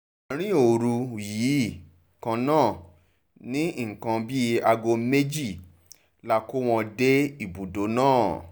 àrìn òru yìí kan náà ní nǹkan bíi aago méjì la kó wọn dé ibùdó náà